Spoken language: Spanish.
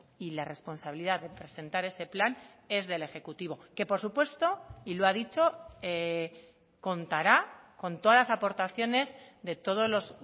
y la responsabilidad de presentar ese plan es del ejecutivo que por supuesto y lo ha dicho contará con todas las aportaciones de todos los